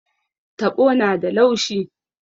Taɓo na da laushi.